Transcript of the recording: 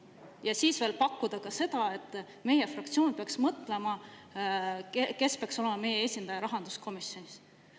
Ja siis veel pakkuda seda, et meie fraktsioon peaks mõtlema selle peale, kes peaks olema meie esindaja rahanduskomisjonis.